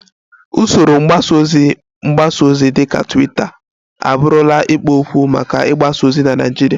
Usoro mgbasa ozi mgbasa ozi dịka Twitter abụrụla ikpo okwu maka ịgbasa ozi na Naịjirịa